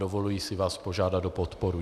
Dovoluji si vás požádat o podporu.